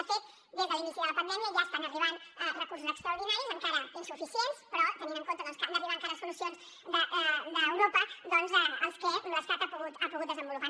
de fet des de l’inici de la pandèmia ja estan arribant recursos extraordinaris encara insuficients però tenint en compte que han d’arribar encara solucions d’europa doncs els que l’estat ha pogut desenvolupar